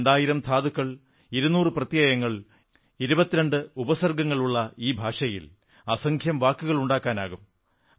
രണ്ടായിരം ധാതുകൾ ഇരുനൂറു പ്രത്യയങ്ങൾ സഫിക്സ് 22 ഉപസർഗ്ഗങ്ങൾ പ്രിഫിക്സ് ഉള്ള ഈ ഭാഷയിൽ അസംഖ്യം വാക്കുകളുണ്ടാക്കാനാകും